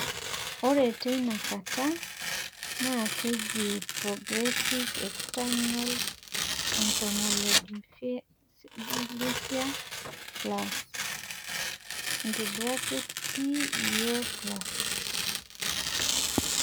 ore teina kata naa keji ina "progressive external ophthalmoplegia plus" (PEO+).